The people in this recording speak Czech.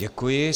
Děkuji.